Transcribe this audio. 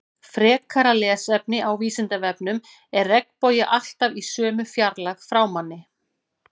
Frekara lesefni á Vísindavefnum Er regnbogi alltaf í sömu fjarlægð frá manni?